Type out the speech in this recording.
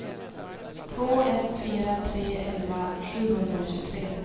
två ett fyra tre elva sjuhundratjugotre